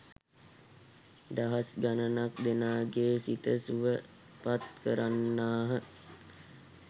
දහස් ගණනක් දෙනාගේ සිත සුවපත් කරන්නාහ.